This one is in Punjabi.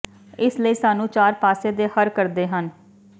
ਇਸ ਲਈ ਸਾਨੂੰ ਚਾਰ ਪਾਸੇ ਦੇ ਹਰ ਕਰਦੇ ਹਨ